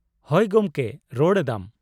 -ᱦᱳᱭ ᱜᱚᱢᱠᱮ ᱨᱚᱲ ᱮᱫᱟᱢ ᱾